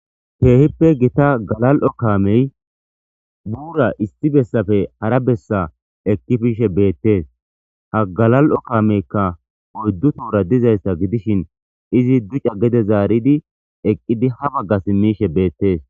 Keehippe gita galal'o kaamey buura issi bessafe hara bessa ekkifiishe beettees ha galal'o kaameykka oyddu toora dizayssa gidishin izi duca gede zaaridi eqqidi ha bagga simmishe beettees